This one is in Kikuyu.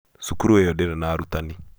cukuru ĩyo ndĩrĩ na arutanĩ